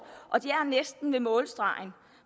og de er næsten ved målstregen